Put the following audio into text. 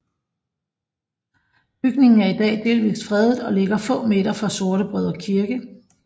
Bygningen er i dag delvis fredet og ligger få meter fra Sortebrødre Kirke